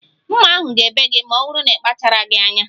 Mma ahu ga-ebe gi ma ọ bụrụ n'ikpachaghi anya